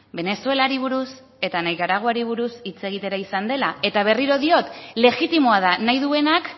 venezuelari buruz eta nikaraguari buruz hitz egitera izan dela eta berriro diot legitimoa da nahi duenak